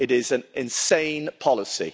It is an insane policy.